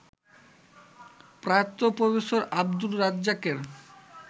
প্রয়াত প্রফেসর আব্দুর রাজ্জাকের